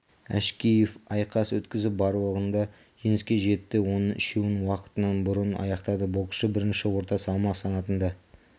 әшкеев айқас өткізіп барлығында жеңіске жетті оның үшеуін уақытынан бұрын аяқтады боксшы бірінші орта салмақ санатында